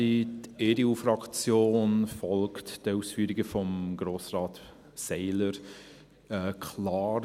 Die EDU-Fraktion folgt den Ausführungen von Grossrat Seiler klar.